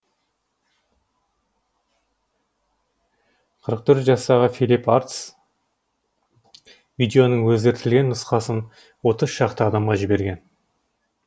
қырық төрт жастағы филипп арпс видеоның өзгертілген нұсқасын отыз шақты адамға жіберген